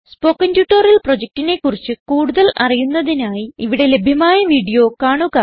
spoken tutorial പ്രൊജക്റ്റിനെ കുറിച്ച് കൂടുതൽ അറിയുന്നതിനായി ഇവിടെ ലഭ്യമായ വീഡിയോ കാണുക